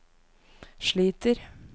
sliter